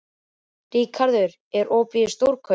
Ríkharð, er opið í Stórkaup?